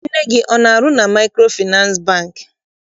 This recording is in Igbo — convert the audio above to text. Nne gị ọ na- arụ na Maịkrofịnasị Bankị?